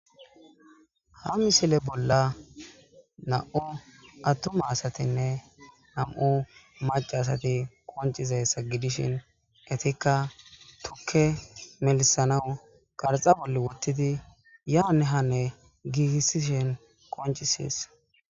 Ha misile bolla nam'u attuma asatinne nam'u macasati koncize sa gidishin etikka tukke melisanawu qarxa bolle wottidi yaane hanne giigissishin koncisees.